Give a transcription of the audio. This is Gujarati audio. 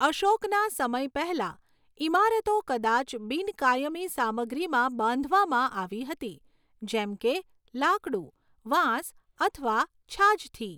અશોકના સમય પહેલાં, ઇમારતો કદાચ બિન કાયમી સામગ્રીમાં બાંધવામાં આવી હતી, જેમ કે લાકડું, વાંસ અથવા છાજથી.